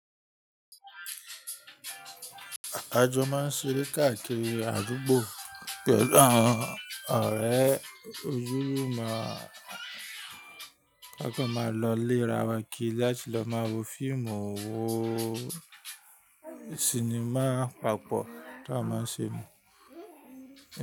Àjọ máa ń ṣeré káàkiri àdúgbò, pẹ̀lú àwọn ọ̀rẹ́ ojúrun máa ń rí ká kọ́ máa lọ léra wa kí láti lọ máa wo fíìmù owó sinimá papọ̀ tó a máa ń ṣe mọ̀